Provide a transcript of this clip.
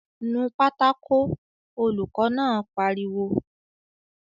"Nu pátákó!" Olùkọ́ náà pariwo